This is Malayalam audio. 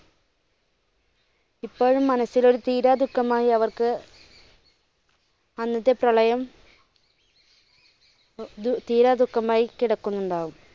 ഇപ്പോഴും മനസ്സിൽ ഒരു തീരാദുഖമായി അവർക്ക് അന്നത്തെ പ്രളയം തീരാദുഖമായി കിടക്കുന്നുണ്ടാകും.